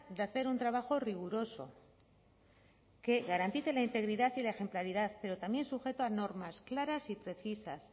de hacer un trabajo riguroso que garantice la integridad y la ejemplaridad pero también sujeto a normas claras y precisas